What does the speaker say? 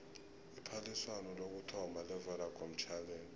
iphaliswano lokuthoma levodacom challenge